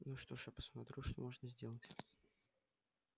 ну что ж я посмотрю что можно сделать